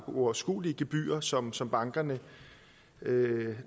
uoverskuelige gebyrer som som bankerne